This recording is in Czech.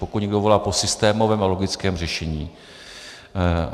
Pokud někdo volá po systémovém a logickém řešení.